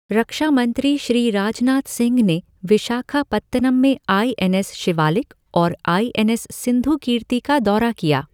रक्षामंत्री श्री राजनाथ सिंह ने विशाखापत्तनम में आई एन एस शिवालिक और आई एन एस सिंधुकीर्ति का दौरा किया